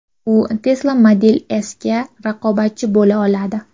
U Tesla Model S’ga raqobatchi bo‘la oladi.